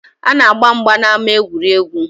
A na-agba mgba n’ama egwuregwu